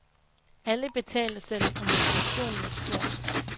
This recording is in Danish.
Alle betaler selv, og motivationen er stor.